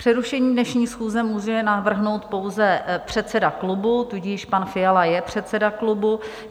Přerušení dnešní schůze může navrhnout pouze předseda klubu, tudíž pan Fiala je předseda klubu.